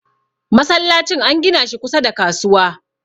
masallacin an gina shi kusa da kasuwa